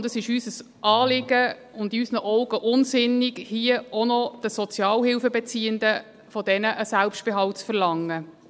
Und es ist uns ein Anliegen und in unseren Augen unsinnig, hier auch noch von den Sozialhilfeziehenden einen Selbstbehalt zu verlangen.